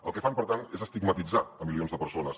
el que fan per tant és estigmatitzar milions de persones